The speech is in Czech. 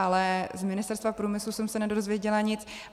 Ale z Ministerstva průmyslu jsem se nedozvěděla nic.